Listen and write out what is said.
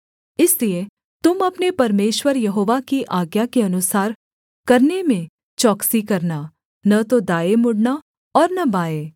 इसलिए तुम अपने परमेश्वर यहोवा की आज्ञा के अनुसार करने में चौकसी करना न तो दाएँ मुड़ना और न बाएँ